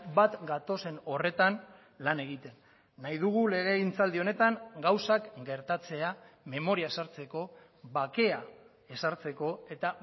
bat gatozen horretan lan egiten nahi dugu legegintzaldi honetan gauzak gertatzea memoria sartzeko bakea ezartzeko eta